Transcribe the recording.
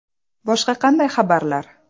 Boshqa qanday xabarlar?